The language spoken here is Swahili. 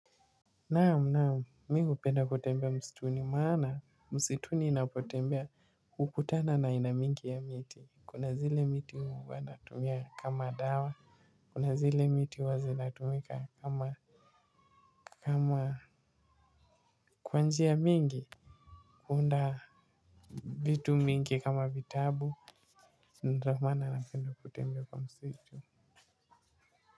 Naam mimi hupenda kutembea msituni maana msituni ninapotembea hukutana na aina mingi ya miti. Kuna zile miti huwa natumia kama dawa kuna zile miti huwa zinatumika kwa njia mingi kuunda vitu mingi kama vitabu. Na ndio maana napenda kutembea kwa msitu.